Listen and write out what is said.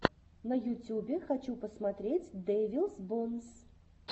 на ютюбе хочу посмотреть дэвилс бонс